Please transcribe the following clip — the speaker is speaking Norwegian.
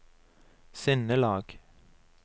sinnelag